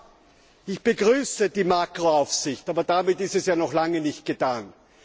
Ja, ich begrüße die Makroaufsicht, aber damit ist es ja noch lange nicht getan.